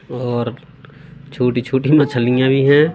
और छोटी छोटी मछलियां भी हैं।